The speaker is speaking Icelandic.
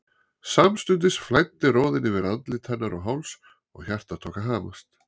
Samstundis flæddi roðinn yfir andlit hennar og háls og hjartað tók að hamast.